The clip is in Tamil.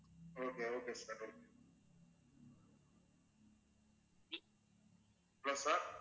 okay, okay sir hellosir